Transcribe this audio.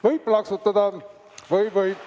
Võib plaksutada!